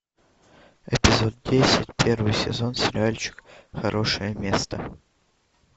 эпизод десять первый сезон сериальчик хорошее место